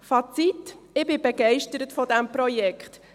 Fazit: Ich bin begeistert von diesem Projekt.